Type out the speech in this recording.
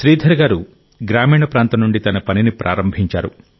శ్రీధర్ గారు గ్రామీణ ప్రాంతం నుండి తన పనిని ప్రారంభించారు